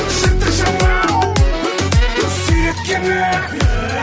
жыртық жамау сүйреткені